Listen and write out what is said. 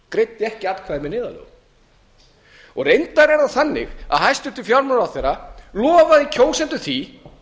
greiddi ekki atkvæði með neyðarlögunum reyndar er það þannig að hæstvirtur fjármálaráðherra lofaði kjósendum því